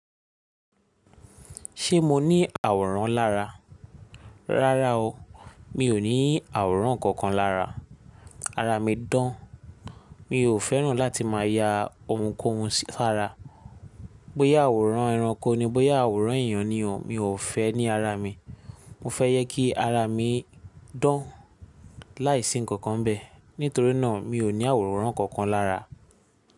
Ṣé mo ní àwòrán lára? Rárá o, mi ò ní àwòrán kankan lára. Ara mi dán, mi ò fẹ́ràn láti máa ya oun kóun sí- sara. Bóyá àwòrán ẹranko ni, bóyá àwòrán èyàn ni, mi ò fẹ́ ní ara mi. Mo ye kí ara mi dán láìsí ǹkankan bẹ́ẹ̀. Nítorí náà mi ò ní àwòrán kankan lára.